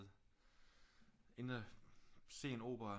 Inde og se en opera